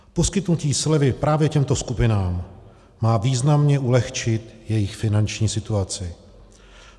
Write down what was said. Poskytnutí slevy právě těmto skupinám má významně ulehčit jejich finanční situaci.